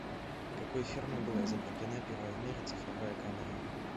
какой фирмой была изобретена первая в мире цифровая камера